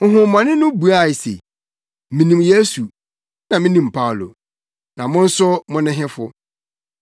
Honhommɔne no buae se, “Minim Yesu, na minim Paulo; na mo nso mo ne hefo?”